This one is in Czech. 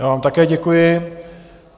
Já vám také děkuji.